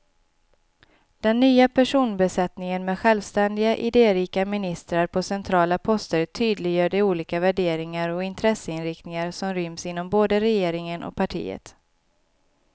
Den nya personbesättningen med självständiga, idérika ministrar på centrala poster tydliggör de olika värderingar och intresseinriktningar som ryms inom både regeringen och partiet.